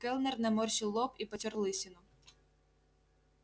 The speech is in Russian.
кэллнер наморщил лоб и потёр лысину